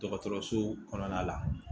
Dɔgɔtɔrɔso kɔnɔna la